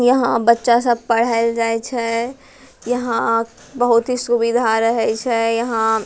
यहाँ बच्चा सब पढ़येल जाय छै यहाँ बहुत ही सुबिधा रहे छे यहाँ --